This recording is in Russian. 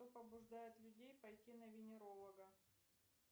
что побуждает людей пойти на венеролога